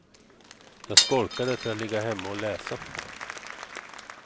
Jag skolkade för att ligga hemma och läsa.